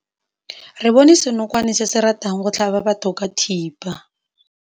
Re bone senokwane se se ratang go tlhaba batho ka thipa.